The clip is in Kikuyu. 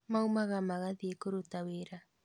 maumaga magathie kũruta wĩra.